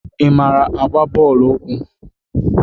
Ị mara igba bọọlụ ụkwụ?